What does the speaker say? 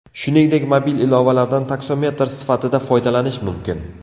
Shuningdek, mobil ilovalardan taksometr sifatida foydalanish mumkin.